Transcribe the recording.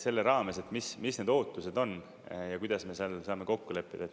Selle raames, mis need ootused on, ja kuidas me saame kokku leppida.